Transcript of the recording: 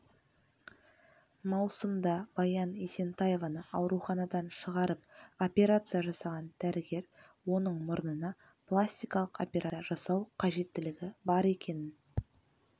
маусымда баян есентаеваны ауруханадан шығарып операция жасаған дәрігер оның мұрнына пластикалық операция жасау қажетілігі бар екенін